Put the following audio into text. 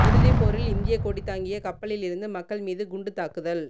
இறுதிப் போரில் இந்தியக் கொடிதாங்கிய கப்பலில் இருந்து மக்கள் மீது குண்டுத்தாக்குதல்